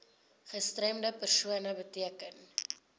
gestremde persoon beteken